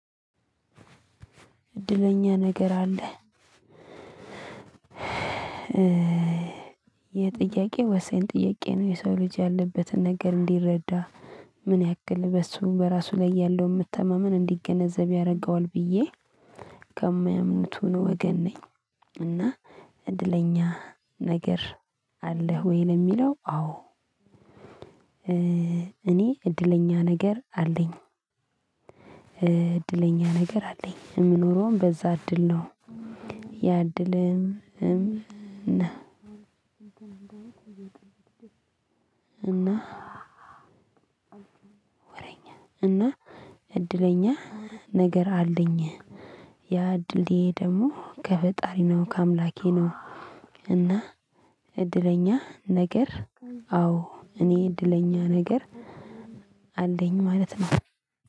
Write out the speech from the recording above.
እድለኛ ነገር አለ ይህ ጥያቄ ወሳኝ ጥያቄ ነው የሰው ልጅ ያለበትን ነገር እንዲረዳ ምን ያክል በሱ በራሱ ላይ ያለውን መተማመን እንዲገነዘብ ያደርገዋል ብዬ ከሚያምኑቱ ወገን ነኝ እና እድለኛ ነገር አለህ ወይ? ለሚለው አዎ ይህ ጥያቄ ወሳኝ ጥያቄ ነው የሰው ልጅ ያለበትን ነገር እንዲረዳ ምን ያክል በሱ በራሱ ላይ ያለውን መተማመን እንዲገነዘብ ያደርገዋል ብዬ እና ወረኛ እና እድለኛ ነገር አለኝ ያ እድሌ ደሞ ከፈጣሪ ነው ከአምላኬ ነው እና እድለኛ ነገር አዎ እኔ እድለኛ ነገር አለኝ ማለት ነው